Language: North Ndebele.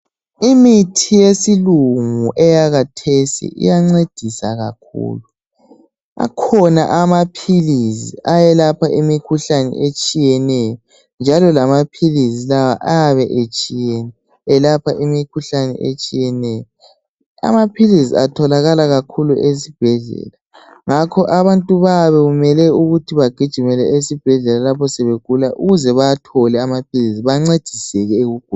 Imithi yesilungu eyakathesi iyancedisa kakhulu. Akhona amaphilizi ayelapha imikhuhlane etshiyeneyo, njalo lamaphilizi lawa ayabe etshiyene elapha imikhuhlane etshiyeneyo. Amaphilizi atholakala kakhulu ezibhedlela, ngakho abantu bayabe kumele ukuthi bagijimele esibhedlela lapho sebegula ukuze bawathole amaphilizi, bancediseke ekuguleni.